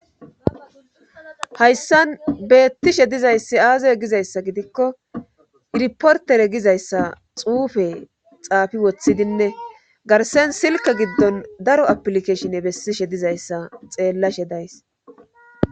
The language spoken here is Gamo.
Hayssan beettishe dizayssi aazaye gizayssa gidikko irportere gizayssa xuufe xaafi woththidinne garsen silke giddon daro aplikeshinne bessishe dizayssa xeellashe days.